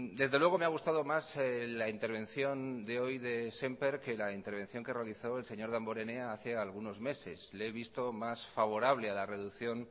desde luego me ha gustado más la intervención de hoy de sémper que la intervención que realizó el señor damborenea hace algunos meses le he visto más favorable a la reducción